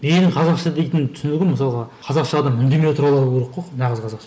менің қазақша дейтін түсінігім мысалға қазақша адам үндемей отыра алу керек қой нағыз қазақша